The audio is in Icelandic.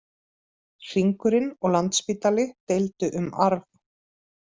Hringurinn og Landspítali deildu um arf